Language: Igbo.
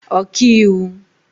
ọkaiwu